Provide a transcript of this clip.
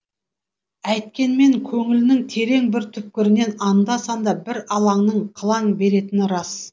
әйткенмен көңілінің терең бір түкпірінен анда санда бір алаңның қылаң беретіні рас